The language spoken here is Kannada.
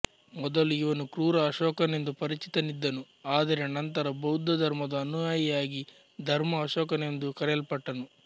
ಮೊದಲು ಇವನು ಕ್ರೂರ ಅಶೋಕನೆಂದು ಪರಿಚಿತನಿದ್ದನು ಆದರೆ ನಂತರ ಬೌದ್ಧ ಧರ್ಮದ ಅನುಯಾಯಿಯಾಗಿ ಧರ್ಮ ಅಶೋಕನೆಂದು ಕರೆಯಲ್ಪಟ್ಟನು